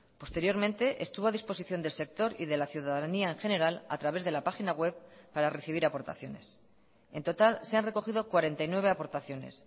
posteriormente estuvo a disposición del sector y de la ciudadanía en general a través de la página web para recibir aportaciones en total se han recogido cuarenta y nueve aportaciones